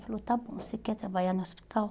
Ele falou, está bom, você quer trabalhar no hospital?